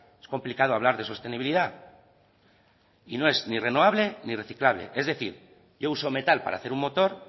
es complicado hablar de sostenibilidad y no es ni renovable ni reciclable es decir yo uso metal para hacer un motor